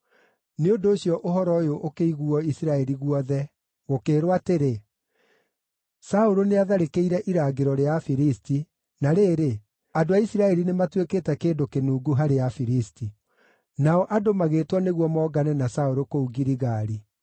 Nĩ ũndũ ũcio ũhoro ũyũ ũkĩiguuo Isiraeli guothe, gũkĩĩrwo atĩrĩ, “Saũlũ nĩatharĩkĩire irangĩro rĩa Afilisti, na rĩrĩ, andũ a Isiraeli nĩmatuĩkĩte kĩndũ kĩnungu harĩ Afilisti.” Nao andũ magĩĩtwo nĩguo mongane na Saũlũ kũu Giligali.